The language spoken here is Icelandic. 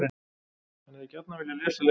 HANN HEFÐI GJARNAN VILJAÐ LESA LENGUR Í